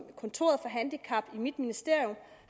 kontoret for handicap i mit ministerium